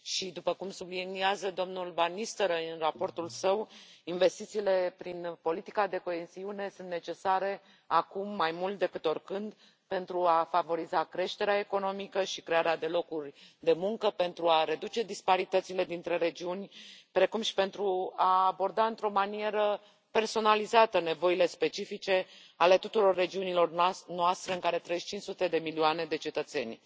După cum subliniază domnul van Nistelrooij în raportul său, investițiile prin politica de coeziune sunt necesare acum, mai mult decât oricând, pentru a favoriza creșterea economică și crearea de locuri de muncă, pentru a reduce disparitățile dintre regiuni, precum și pentru a aborda într o manieră personalizată nevoile specifice ale tuturor regiunilor noastre, în care trăiesc 500 de milioane de cetățeni.